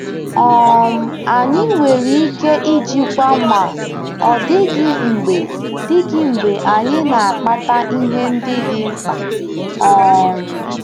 um Anyị nwere ike ijikwa ma ọ dịghị mgbe dịghị mgbe anyị na-akpata ihe ndị dị mkpa. um